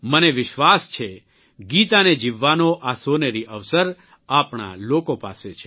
મને વિશ્વાસ છે ગીતાને જીવવાનો આ સોનેરી અવસર આપણા લોકો પાસે છે